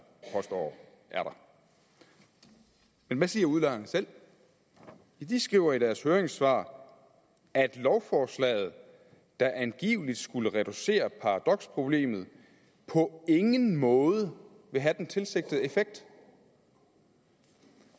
påstår er der men hvad siger udlejerne selv de skriver i deres høringssvar at lovforslaget der angiveligt skulle reducere paradoksproblemet på ingen måde vil have den tilsigtede effekt